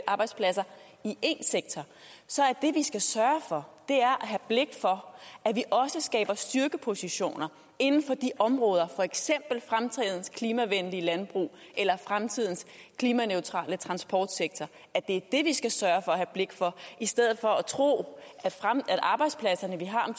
arbejdspladser i en sektor så er det vi skal sørge for at have blik for at vi også skaber styrkepositioner inden for de områder for eksempel fremtidens klimavenlige landbrug eller fremtidens klimaneutrale transportsektor er det vi skal sørge for at have blik for i stedet for at tro at arbejdspladserne vi har om